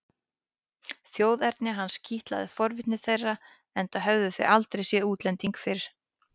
Þjóðerni hans kitlaði forvitni þeirra enda höfðu þau aldrei séð útlending fyrr.